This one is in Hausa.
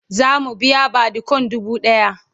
zamu biya badikon dubu ɗaya